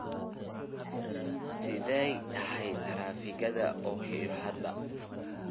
sidee tahay taraafikada Ohio hadda?